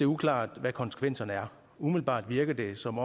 uklart hvad konsekvenserne er umiddelbart virker det som